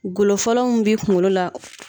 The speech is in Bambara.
Golo fɔlɔw mun bɛ kungolo la